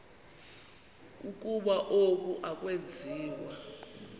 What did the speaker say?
ukuba oku akwenziwa